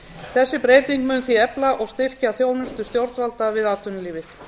þessi breyting mun því efla og styrkja þjónustu stjórnvalda við atvinnulífið